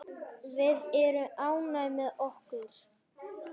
Við erum ánægð með okkar.